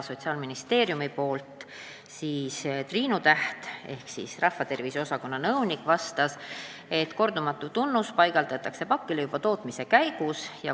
Sotsiaalministeeriumi rahvatervise osakonna nõunik Triinu Täht vastas, et kordumatu tunnus pannakse pakile juba tootmise käigus.